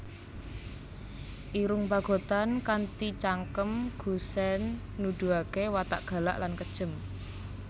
Irung Pagotan kanthi cangkem gusèn nuduhaké watak galak lan kejem